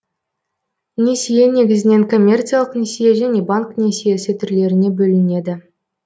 несие негізінен коммерциялық несие және банк несиесі түрлеріне бөлінеді